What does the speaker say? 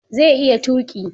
Zai iya tuƙi